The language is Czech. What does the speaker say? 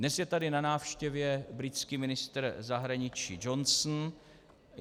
Dnes je tady na návštěvě britský ministr zahraničí Johnson.